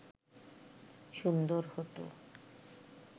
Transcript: সুন্দর হত